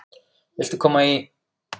Viltu koma í?